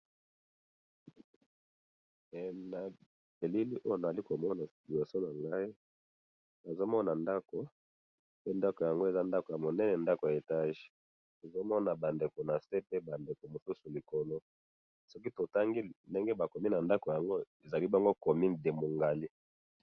Na elili oyo nazali komona liboso nangayi, nazomona ndako, pe ndako yango eza ndako ya monene, ndako ya etage, nazomona bandeko nase pe bandeko mosusu likolo, soki totangi ndenge bakomi nandako naango, ezali bongo comune de moungali